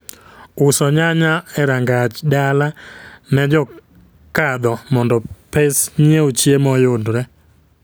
Uso nyanya e rangaj dala ne jokadho mondo pes nyiew chiemo oyudre